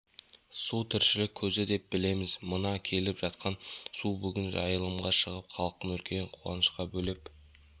су тіршілік көзі деп білеміз мына келіп жатқан су бүгін жайылымға шығып халықты үлкен қуанышқа бөлеп